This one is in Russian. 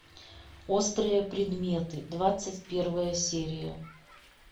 острые предметы двадцать первая серия